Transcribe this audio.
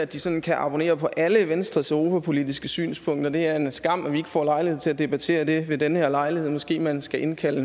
de sådan kan abonnere på alle venstres europapolitiske synspunkter og det er en skam at vi ikke får lejlighed til at debattere det ved den her lejlighed måske man skulle indkalde